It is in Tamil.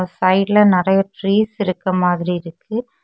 சைடுல நரய டிரீஸ் இருக்கமாதிரி இருக்கு.